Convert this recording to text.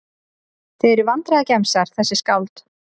Þið eruð vandræðagemsar þessi skáld.